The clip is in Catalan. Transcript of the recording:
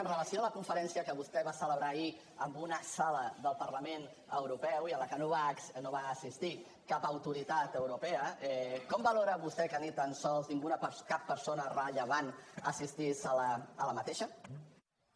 amb relació a la conferència que vostè va celebrar ahir en una sala del parlament europeu i a la que no va assistir cap autoritat europea com valora vostè que ni tan sols cap persona rellevant assistís a aquesta conferència